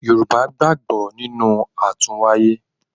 Yorùbá gbàgbọ́ nínú àtúnwáyé.